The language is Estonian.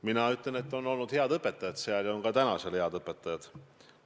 Mina ütlen, et seal olid head õpetajad ja on ka praegu head õpetajad.